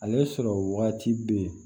Ale sɔrɔ waati bɛ yen